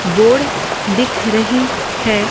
Board दिख रही है।